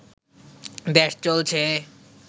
দেশ চলছে